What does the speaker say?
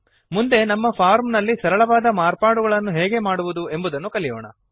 ಮುಂದೆ ನಮ್ಮ ಫಾರ್ಮ್ ನಲ್ಲಿ ಸರಳವಾದ ಮಾರ್ಪಾಡುಗಳನ್ನು ಹೇಗೆ ಮಾಡುವುದು ಎಂಬುದನ್ನು ಕಲಿಯೋಣ